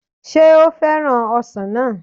Sé ó fẹ́ràn ọsàn náà